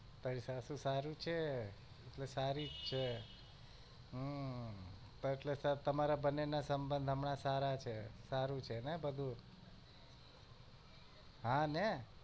તારી સાસુ સારું છે એ તે સારી જ છે હ તો તેમના બંને ના સબંધ સારા જ છે ને સારું છે ને બધું હા ને